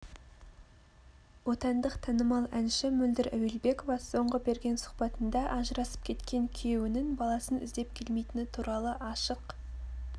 отандық танымал әнші мөлдір әуелбекова соңғы берген сұхбатында ажырасып кеткен күйеуінің баласын іздеп келмейтіні туралы ашық